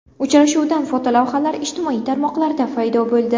Uchrashuvdan fotolavhalar ijtimoiy tarmoqlarda paydo bo‘ldi.